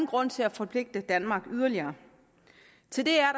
grund til at forpligte danmark yderligere til det er